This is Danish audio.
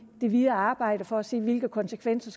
det videre arbejde for at se hvilke konsekvenser